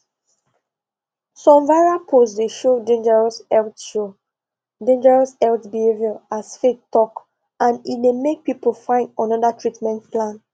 some viral post dey show dangerous health show dangerous health behavior as faith talk and e dey make people find another treatment plan